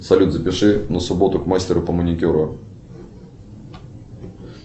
салют запиши на субботу к мастеру по маникюру